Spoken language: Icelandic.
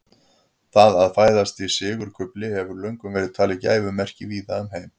Það að fæðast í sigurkufli hefur löngum verið talið gæfumerki víða um heim.